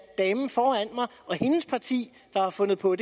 damen foran mig og hendes parti der har fundet på